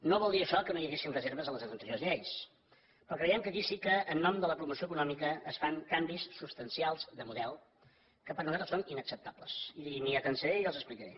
no vol dir això que no hi haguessin reserves a les anteriors lleis però creiem que aquí sí que en nom de la promoció econòmica es fan canvis substancials de model que per nosaltres són inacceptables i m’hi atansaré i els explicaré